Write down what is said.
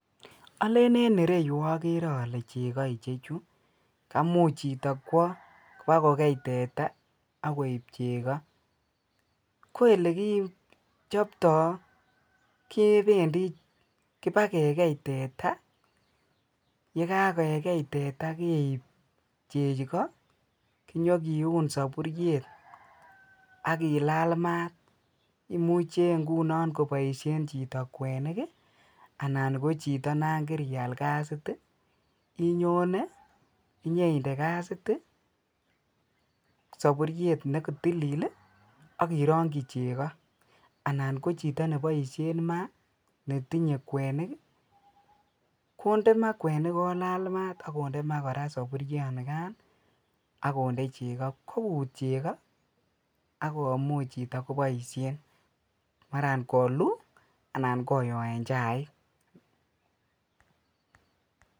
Ole en ireyuu okere ole cheko ichechuu kamuch chito kwo ibakokei teta ak koib cheko. Ko ole kichoptoo kependii kipagee kei teta yekakekei teta keib cheko kinyo kiun soburyet akilal maat, imuch ingunon koboishen chito kweniki anan ko chito non kirial kasit tii inyone inyoinde kasiti soburyet nekotilil lii ak ironki cheko anan ko chito neboishen maa netinye kwenik konde maa kwenik kolal maat ak konde maa Koraa soburyo nikan Nii ak konde cheko kokut cheko akomuchi chito koboishen maraa koluu anan koyoen chaik.